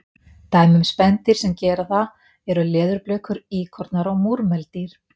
Dæmi um spendýr sem gera það eru leðurblökur, íkornar og múrmeldýr.